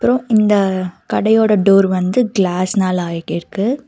அப்றோ இந்த கடையோட டோர் வந்து கிளாஸ்னால ஆய்டிருக்கு.